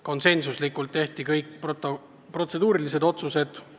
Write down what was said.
Konsensusega tehti kõik protseduurilised otsused.